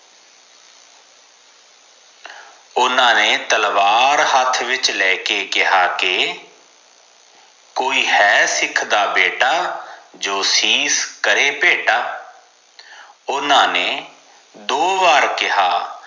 ਓਨਾ ਨੇ ਤਲਵਾਰ ਹਾਥ ਵਿਚ ਲੈਕੇ ਕਿਹਾ ਕਿ ਕੋਈ ਹੈ ਸਿੱਖ ਦਾ ਬੇਟਾ ਜੋ ਸ਼ਿਸ਼ ਕਰੇ ਭੇਟਾ ਓਨਾ ਨੇ ਦੋ ਵਾਰ ਕਿਹਾ